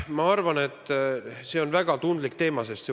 Ma arvan, et see on väga tundlik teema.